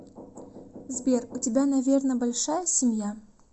сбер у тебя наверно большая семья